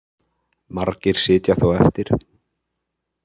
Margir sitja þó eftir